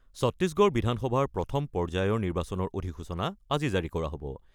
ছত্তিশগড় বিধানসভাৰ প্ৰথম পৰ্যায়ৰ নিৰ্বাচনৰ অধিসূচনা আজি জাৰি কৰা হ'ব।